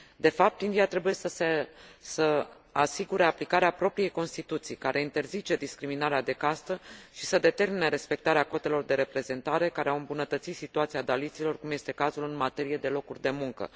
De fapt, India trebuie să asigure aplicarea propriei Constituții, care interzice discriminarea de castă, și să determine respectarea cotelor de reprezentare, care au îmbunătățit situația daliților, cum este cazul în materie de locuri de muncă.